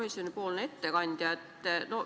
Lugupeetud ettekandja!